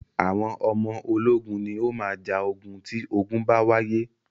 Àwọn ọmọ ológun ni o máa ja ogun tí ogun bá wáyé.